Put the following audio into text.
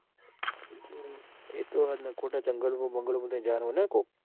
એતો હ જ ને ખોટા જંગલો માં બંગલો માં થઈને જવાનું હોય કોક